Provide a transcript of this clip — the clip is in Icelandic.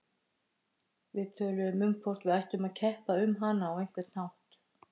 Við töluðum um hvort við ættum að keppa um hana á einhvern hátt.